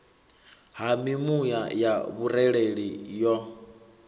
ha mimuya ya vhurereli yo